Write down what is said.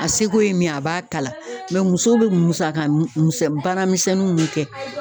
A seko ye min ye, a b'a kala muso be musaka musɔ baara misɛnninw mun kɛ